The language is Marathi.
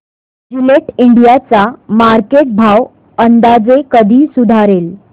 जिलेट इंडिया चा मार्केट भाव अंदाजे कधी सुधारेल